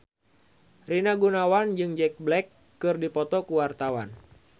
Rina Gunawan jeung Jack Black keur dipoto ku wartawan